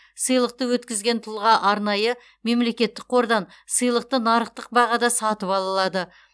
сыйлықты өткізген тұлға арнайы мемлекеттік қордан сыйлықты нарықтық бағада сатып ала алады